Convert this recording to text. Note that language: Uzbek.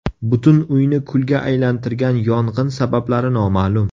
Butun uyni kulga aylantirgan yong‘in sabablari noma’lum.